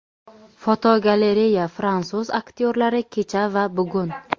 Fotogalereya: Fransuz aktyorlari kecha va bugun.